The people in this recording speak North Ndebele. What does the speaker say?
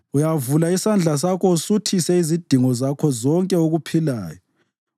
Uyavula isandla sakho usuthise izidingo zakho konke okuphilayo.